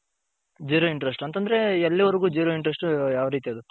zero interest ಅಂತಂದ್ರೆ ಎಲ್ಲಿ ವರ್ಗು zero interest ಯಾವ್ ರೀತಿ ಅದು.